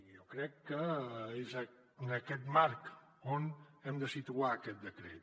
i jo crec que és en aquest marc on hem de situar aquest decret